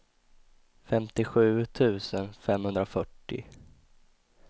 femtiosju tusen femhundrafyrtio